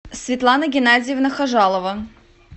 светлана геннадьевна хажалова